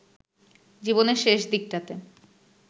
জীবনের শেষ দিকটাতে